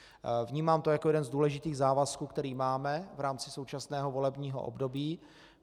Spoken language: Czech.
Vnímám to jako jeden z důležitých závazků, který máme v rámci současného volebního období.